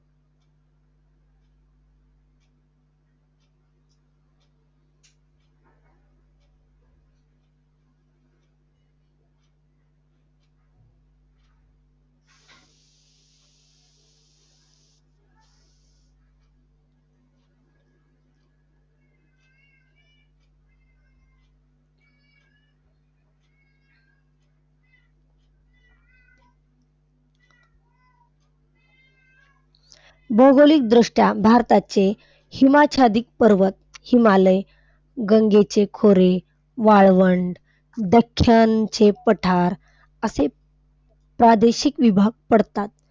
भौगोलिकदृष्ट्या भारताचे हिमाच्छादित पर्वत हिमालय, गंगेचे खोरे, वाळवंट, दख्खनचे पठार असे प्रादेशिक विभाग पडतात.